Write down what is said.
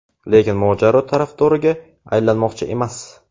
lekin mojaro tarafdoriga aylanmoqchi emas.